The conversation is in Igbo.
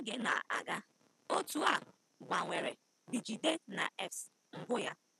Ka oge na-aga, otu a gbanwere bJidennaefs mbụ ya.